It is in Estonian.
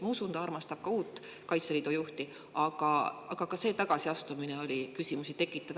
Ma usun, et armastatakse ka uut Kaitseliidu juhti, aga see tagasiastumine oli küsimusi tekitav.